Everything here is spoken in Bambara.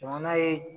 Jamana ye